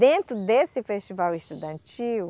Dentro desse Festival Estudantil,